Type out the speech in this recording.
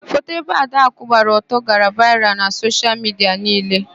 Foto ebe Adakụ gbaa ọtọ gara vaịral na soshial midia niile.